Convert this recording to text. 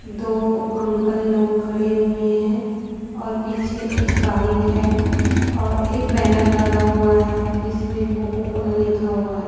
दो अंकल लोग खड़े हुए हैं और पीछे एक बाइक है और एक बैनर लगा हुआ है जिसमें कोको कोला लिखा हुआ है।